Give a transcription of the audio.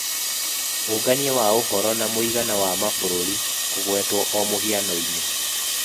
Ũngania wa ũhoro na mũigana wa mabũrũri kũgwetwo o mũhiano-inĩ.